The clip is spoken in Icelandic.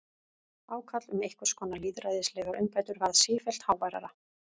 Ákall um einhvers konar lýðræðislegar umbætur varð sífellt háværara.